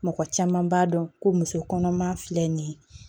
Mɔgɔ caman b'a dɔn ko muso kɔnɔma filɛ nin ye